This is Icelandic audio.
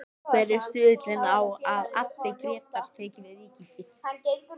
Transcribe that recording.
Hver er stuðullinn á að Addi Grétars taki við Víkingi?